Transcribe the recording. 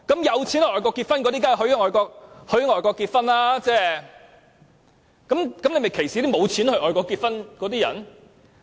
有錢到外國的人，他們當然可以在外國結婚，但這樣是否歧視了沒有錢到外國結婚的人呢？